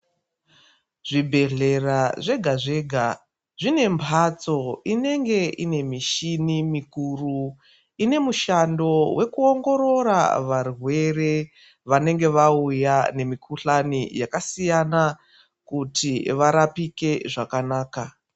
Zvibhedhlera zvega zvega zvine mbatso inenge ine mishini mikuru ine mushando wekuongorora varwere vanenge vauya nemikuhlani yakasiyana kuti varapike zvakanaka.